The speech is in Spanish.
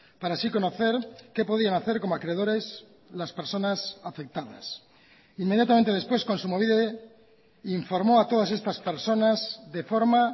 para así conocer qué podían hacer como acreedores las personas afectadas inmediatamente después kontsumobide informó a todas estas personas de forma